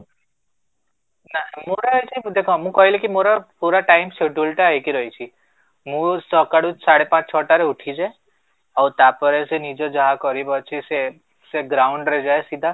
ନାଇଁ ମୋର ଦେଖ ମୁଁ କହିଲି କି ମୋର ପୁରା time scheduleଟା ହେଇକି ରହିଛି, ମୁଁ ସକାଳୁ ସାଢେ ପାଞ୍ଚ ଛଅ ଟା ରେ ଉଠିଯାଏ ଆଉ ତାପରେ ସେ ନିଜେ ଯାହା କରିବା ଅଛି ସେ ସେ ground ରେ ଯାଏ ସିଧା